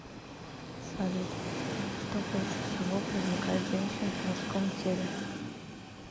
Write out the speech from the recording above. салют что больше всего привлекает женщин в мужском теле